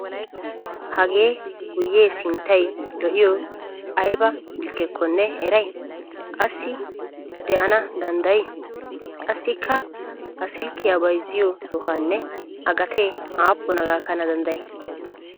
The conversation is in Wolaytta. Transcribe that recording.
Hagee guyyee sinttayi lo'iyoyi ayiba silkkekkonne eriyaa asi de'ana danddayii? Qassikka ha silkkiyaa bayzziyoo sohaanne A gatee aappuna gakkana danddayii?